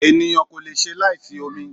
Ènìyàn kò leṣe láì sí omi